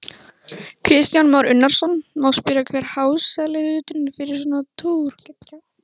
Kristján Már Unnarsson: Má spyrja hver hásetahluturinn er fyrir svona túr?